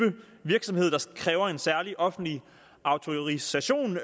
virksomhed der kræver en særlig offentlig autorisation